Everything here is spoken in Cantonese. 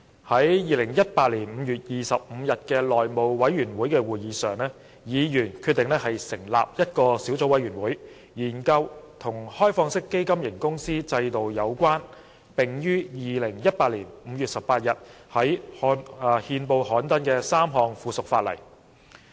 在2018年5月25日的內務委員會會議上，議員決定成立一個小組委員會，以研究與開放式基金型公司制度有關、並已於2018年5月18日在憲報刊登的3項附屬法例。